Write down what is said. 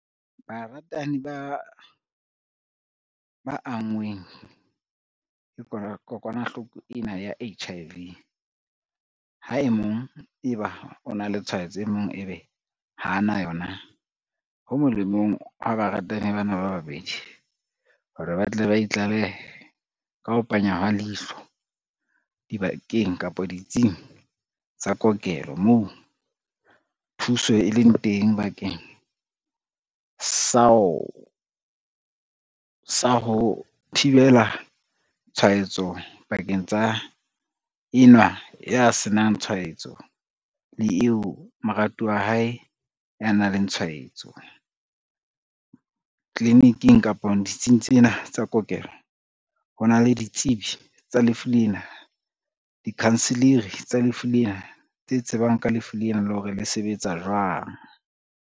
Baratani ba anngweng ke kokwanahloko ena ya H_I_V, ha e mong eba o na le tshwaetso e mong ebe ha ana yona. Ho molemong wa baratani bana ba babedi hore ba tle ba itlalehe ka ho panya hwa leihlo dibakeng kapa ditsing tsa kokelo moo thuso e leng teng, bakeng sa ho thibela tshwaetso pakeng tsa enwa ya senang tshwaetso le eo moratuwa hae ya nang le tshwaetso. Tliliniking kapa ditsing tsena tsa kokelo, ho na le ditsebi tsa lefu lena, dikhanseleri tsa lefu lena, tse tsebang ka lefu lena lo hore le sebetsa jwang.